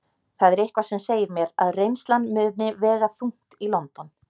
Það er eitthvað sem segir mér að reynslan muni vega þungt í London.